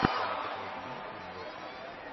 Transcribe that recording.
в твоем каталоге есть фильм майкла